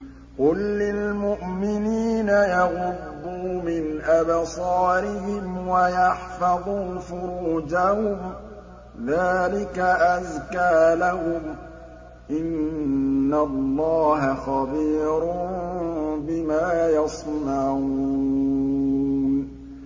قُل لِّلْمُؤْمِنِينَ يَغُضُّوا مِنْ أَبْصَارِهِمْ وَيَحْفَظُوا فُرُوجَهُمْ ۚ ذَٰلِكَ أَزْكَىٰ لَهُمْ ۗ إِنَّ اللَّهَ خَبِيرٌ بِمَا يَصْنَعُونَ